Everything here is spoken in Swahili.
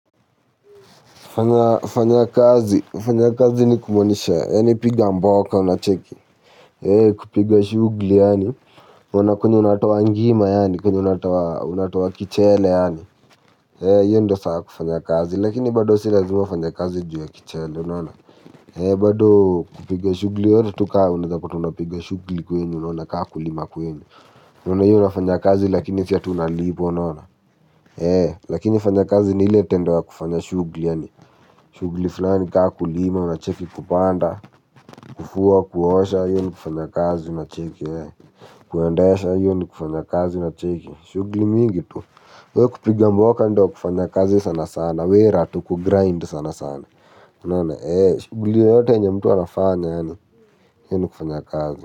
Fanya kazi. Fanya kazi ni kumaanisha. Yaani piga mboka unacheki. Kupiga shughuli yaani. Kuona kwenye unatoa ngima yaani. Kwenye unatoa kichele yaani. Hio ndio saa ya kufanya kazi. Lakini bado si lazima ufanye kazi juu ya kichele. Bado kupiga shughuli. Yoyote tu ka unawezapata unapiga shughuli kwenu. Unaona kama kulima kwenu. Kuna hiyo unafanya kazi lakini sio aty unalipwa unaona. Lakini fanya kazi ni ile tendo ya kufanya shughuli. Yaani, shughuli fulani kama kulima, unacheki kupanda, kufua, kuosha, hiyo ni kufanya kazi, unacheki, kuendesha, hiyo ni kufanya kazi, unacheki. Shughuli mingi tu, wewe kupiga mboka ndio kufanya kazi sana sana, wera tu kugrind sana sana. Unaona, eh, shughuli yoyote yenye mtu anafanya yaani hiyo ni kufanya kazi.